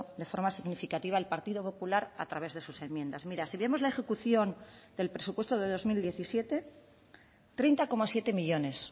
de forma significativa el partido popular a través de sus enmiendas mira si vemos la ejecución del presupuesto de dos mil diecisiete treinta coma siete millónes